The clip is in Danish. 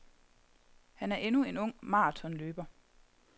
Han er endnu en ung marathonløber.